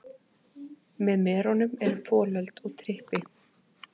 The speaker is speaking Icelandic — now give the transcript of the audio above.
Með merunum eru folöld og trippi.